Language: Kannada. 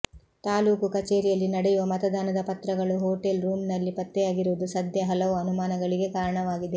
ತಾಲೂಕು ಕಚೇರಿಯಲ್ಲಿ ನಡೆಯುವ ಮತದಾನದ ಪತ್ರಗಳು ಹೋಟೆಲ್ ರೂಮ್ ನಲ್ಲಿ ಪತ್ತೆಯಾಗಿರುವುದು ಸದ್ಯ ಹಲವು ಅನುಮಾನಗಳಿಗೆ ಕಾರಣವಾಗಿದೆ